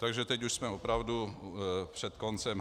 Takže teď už jsme opravdu před koncem.